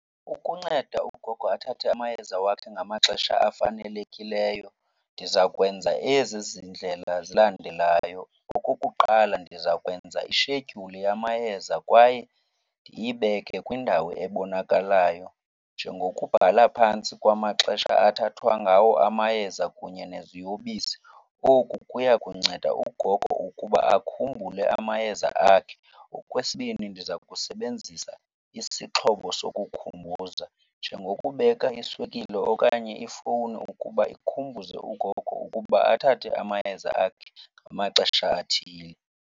Ukunceda ugogo athathe amayeza wakhe ngamaxesha afanelekileyo ndiza kwenza ezi zindlela zilandelayo. Okokuqala, ndiza kwenza ishedyuli yamayeza kwaye ndiyibeke kwindawo ebonakalayo njengokubhala phantsi kwamaxesha athathwa ngawo amayeza kunye neziyobisi. Oku kuya kunceda ugogo ukuba akhumbule amayeza akhe. Okwesibini, ndiza kusebenzisa isixhobo sokukhumbuza njengokubeka iswekile okanye ifowuni ukuba ikhumbuze ugogo ukuba athathe amayeza akhe ngamaxesha athile.